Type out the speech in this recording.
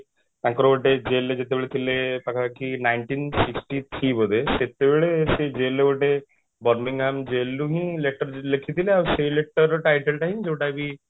ତାଙ୍କର ଗୋଟେ jail ରେ ଯେତେବେଳେ ଥିଲେ ତାଙ୍କର ଏଠି nineteen sixty three ବୋଧେ ସେତେବେଳେ ସେ jail ରେ ଗୋଟେ Birmingham jail ରୁ ହି letter ଲେଖିଥିଲେ ଆଉ ସେ letter title ଟା ହିଁ ଯୋଉଟା କି